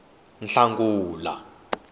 hlangula